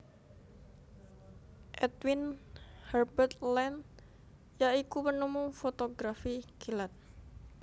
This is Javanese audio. Edwin Herbert Land ya iku penemu fotografi kilat